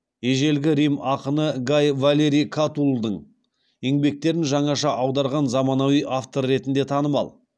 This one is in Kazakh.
ежелгі рим ақыны гай валерий катуллдың еңбектерін жаңаша аударған заманауи автор ретінде танымал